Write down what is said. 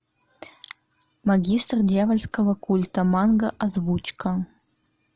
магистр дьявольского культа манга озвучка